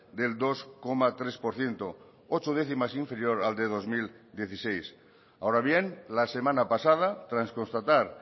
del dos coma tres por ciento ocho décimas inferior al de dos mil dieciséis ahora bien la semana pasada tras constatar